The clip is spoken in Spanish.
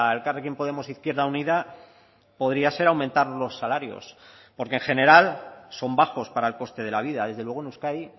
elkarrekin podemos izquierda unida podría ser aumentar los salarios porque en general son bajos para el coste de la vida desde luego en euskadi